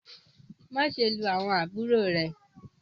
maṣe lu awọn àbúrò rẹ!